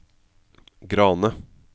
Grane